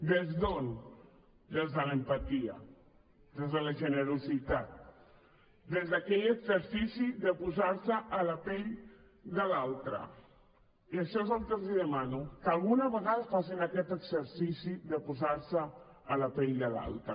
des d’on des de l’empatia des de la generositat des d’aquell exercici de posar se a la pell de l’altre i això és el que els demano que alguna vegada facin aquest exercici de posar se a la pell de l’altre